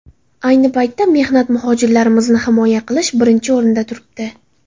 Ayni paytda mehnat muhojirlarimizni himoya qilish birinchi o‘rinda turibdi.